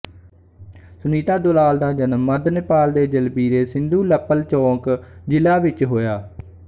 ਸੁਨੀਤਾ ਦੁਲਾਲ ਦਾ ਜਨਮ ਮੱਧ ਨੇਪਾਲ ਦੇ ਜਲਬੀਰੇ ਸਿੰਧੂਲਪਲਚੋਕ ਜ਼ਿਲ੍ਹਾ ਵਿੱਚ ਹੋਇਆ